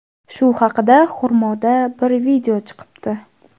Shu haqida Xurmoda bir video chiqibdi.